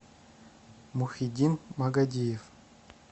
мухиддин магадиев